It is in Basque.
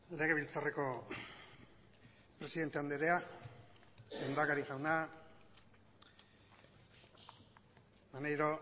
legebiltzarreko presidente andrea lehendakari jauna maneiro